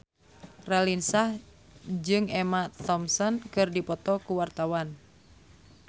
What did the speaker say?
Raline Shah jeung Emma Thompson keur dipoto ku wartawan